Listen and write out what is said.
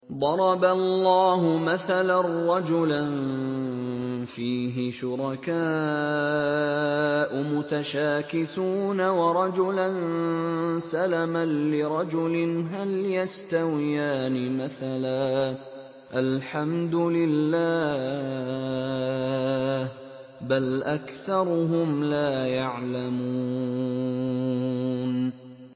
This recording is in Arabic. ضَرَبَ اللَّهُ مَثَلًا رَّجُلًا فِيهِ شُرَكَاءُ مُتَشَاكِسُونَ وَرَجُلًا سَلَمًا لِّرَجُلٍ هَلْ يَسْتَوِيَانِ مَثَلًا ۚ الْحَمْدُ لِلَّهِ ۚ بَلْ أَكْثَرُهُمْ لَا يَعْلَمُونَ